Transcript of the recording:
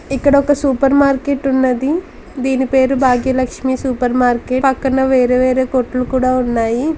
ఇక్కడ ఒక super market ఉన్నది. దీని పేరు భాగ్య లక్ష్మీ సూపర్ మార్కెట్. పక్కన వేరే వేరే కొట్లు కూడా ఉన్నాయి.